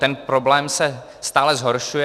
Ten problém se stále zhoršuje.